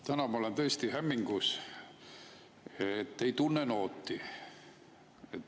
Täna ma olen tõesti hämmingus, ei tunne nooti.